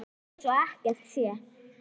Ég læt eins og ekkert sé.